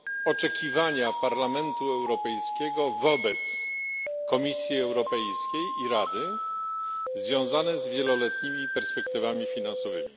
oczekiwania Parlamentu Europejskiego wobec Komisji Europejskiej i Rady związane z wieloletnimi perspektywami finansowymi.